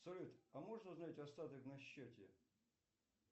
салют а можно узнать остаток на счете